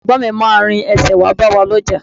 Àwọn Ẹ̀gbọ́n mi máa rin ẹsẹ̀ wá bá wa lọ́jà